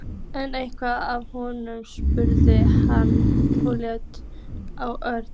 Er eitthvað að honum? spurði hann og leit á Örn.